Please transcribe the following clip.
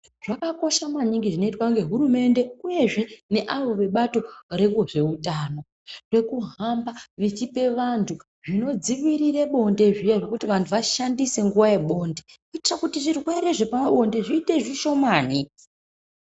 Zvakakosha maningi zvinoitwa ngehurumende, uyezve neavo vebato rezveutano, zvekuhamba vechipa vantu zvinodziirire bonde zviyani kuti vantu vashandise nguva yebonde, kuite kuti zvirwere zvepabonde zviite zvishomani.